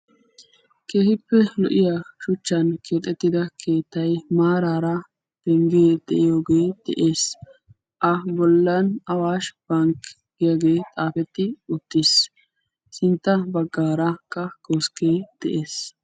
Keehippe shuchchan keexettidda keettay de'ees a bollan awash bankki giyaaggi xaafetti uttiis. A sinttan koskke de'ees.